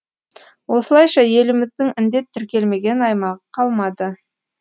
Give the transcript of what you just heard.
осылайша еліміздің індет тіркелмеген аймағы қалмады